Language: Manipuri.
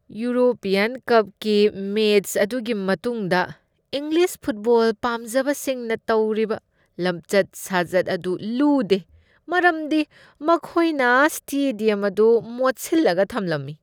ꯌꯨꯔꯣꯄ꯭ꯌꯟ ꯀꯞꯀꯤ ꯃꯦꯆ ꯑꯗꯨꯒꯤ ꯃꯇꯨꯡꯗ ꯏꯪꯂꯤꯁ ꯐꯨꯠꯕꯣꯜ ꯄꯥꯝꯖꯕꯁꯤꯡꯅ ꯇꯧꯔꯤꯕ ꯂꯝꯆꯠ ꯁꯥꯖꯠ ꯑꯗꯨ ꯂꯨꯗꯦ, ꯃꯔꯝꯗꯤ ꯃꯈꯣꯏꯅ ꯁ꯭ꯇꯦꯗ꯭ꯌꯝ ꯑꯗꯨ ꯃꯣꯠꯁꯤꯜꯂꯒ ꯊꯝꯂꯝꯃꯤ꯫